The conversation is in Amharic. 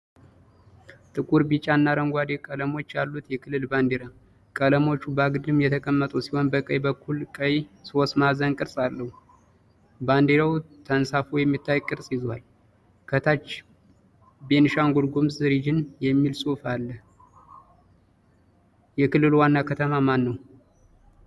ጥቁር፣ ቢጫ እና አረንጓዴ ቀለሞች ያሉት የክልል ባንዲራ። ቀለሞቹ በአግድም የተቀመጡ ሲሆን በቀኝ በኩል ቀይ የሦስት ማዕዘን ቅርጽ አለው። ባንዲራው ተንሳፎ የሚታይ ቅርጽ ይዟል። ከታች ቤኒሻንጉል ጉሙዝ ሪጅን የሚል ጽሑፍ አለ። የክልሉ ዋና ከተማ ማንነው?